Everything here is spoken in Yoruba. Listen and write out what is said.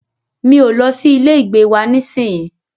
Mi o lọ sí ilé ìgbé wa nísìyí.